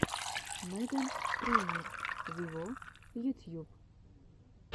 меган трейнер виво ютьюб